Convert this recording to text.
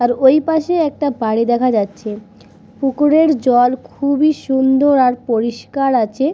আর ওই পাশে একটা বাড়ি দেখা যাচ্ছে পুকুরের জল খুবই সুন্দর আর পরিষ্কার আছে।